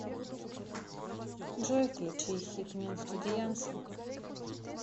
джой включи хикмет студиянсы